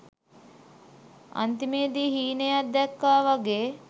අන්තිමේදී හීනයක් දැක්කා වගේ